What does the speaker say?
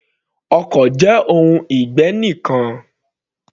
Ọkọ̀ jẹ́ ohun ìgbé ǹkan.